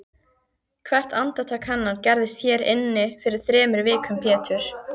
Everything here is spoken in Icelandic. Hvert andartak hennar gerðist hér inni fyrir þremur vikum Pétur.